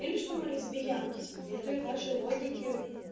или что мы лесбиянки следуя вашей логике